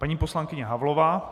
Paní poslankyně Havlová.